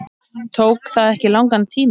Tók það ekki langan tíma?